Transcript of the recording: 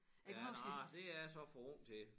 Ja nja det jeg så for ung til